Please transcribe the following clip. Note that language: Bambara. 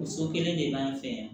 Muso kelen de b'an fɛ yan